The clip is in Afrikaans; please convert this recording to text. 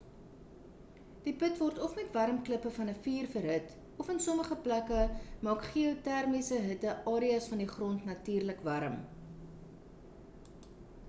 die put word of met warm klippe van 'n vuur verhit of in sommige plekke maak geotermiese hitte areas van die grond natuurlik warm